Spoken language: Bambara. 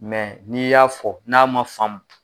Mɛ n'i y'a fɔ n'a ma faamu